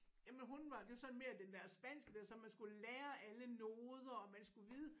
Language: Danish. Jamen hun var det var sådan mere den der spanske der så man skulle lære alle noder og man skulle vide